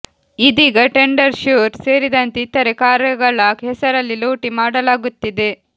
ಇದೀಗ ಟೆಂಡರ್ ಶ್ಯೂರ್ ಸೇರಿದಂತೆ ಇತರೆ ಕಾರ್ಯಗಳ ಹೆಸರಲ್ಲಿ ಲೂಟಿ ಮಾಡಲಾಗುತ್ತಿದೆ